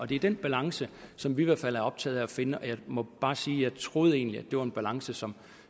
det er den balance som vi i hvert fald er optaget af at finde og jeg må bare sige at jeg troede egentlig det var en balance som